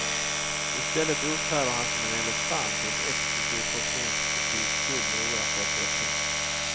I stället uppträder han som en elefant i en exklusiv porslinsbutik fylld med oersättliga ting.